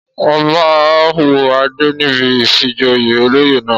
Ọba wọ adé níbi ìfijoyè olóyè náà.